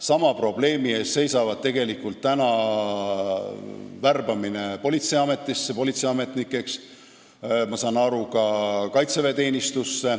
Sama probleemi ees seisab tegelikult politseiamet ja ma saan aru, et ka kaitsevägi.